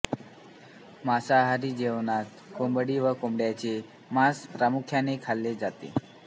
मासांहारी जेवणात कोंबडी व बोकडाचे मांस प्रामुख्याने खाल्ले जाते